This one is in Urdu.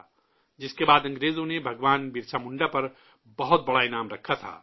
جس کے بعد انگریزوں نے بھگوان برسا منڈا پر بہت بڑا انعام رکھا تھا